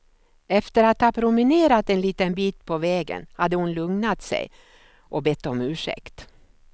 Efter att ha promenerat en liten bit på vägen hade hon lugnat sig och bett om ursäkt.